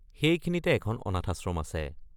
সেইখিনিতে এখন অনাথাশ্রম আছে।